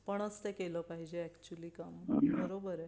आपणच ते केला पाहिजे अॅक्चुअली काम बरोबर ये